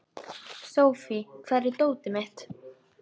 Sophie, hvar er dótið mitt?